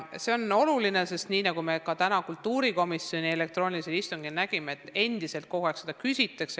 See on oluline info, sest nii nagu me ka täna kultuurikomisjoni elektroonilisel istungil nägime, seda küsitakse endiselt kogu aeg.